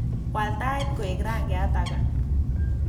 Waal tait koek rangyat age